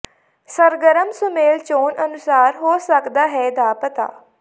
ਸਰਗਰਮ ਸੁਮੇਲ ਚੋਣ ਅਨੁਸਾਰ ਹੋ ਸਕਦਾ ਹੈ ਦਾ ਪਤਾ